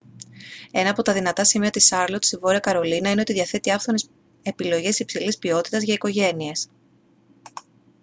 ένα από τα δυνατά σημεία της σάρλοτ στη βόρεια καρολίνα είναι ότι διαθέτει άφθονες επιλογές υψηλής ποιότητας για οικογένειες